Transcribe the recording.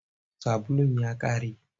Sabulun ya ƙare.